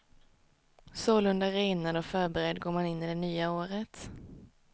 Sålunda renad och förberedd går man in i det nya året.